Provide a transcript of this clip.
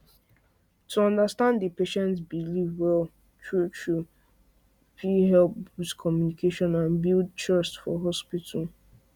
to understand a patient belief well truetrue fit help boost communication and build trust for hospital